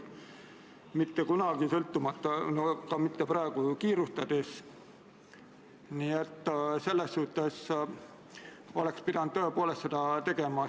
Need täpsustused ühtlustavad eelnõu teksti sõnastust teiste Kaitseväe osalusega operatsioonide eelnõude sõnastustega.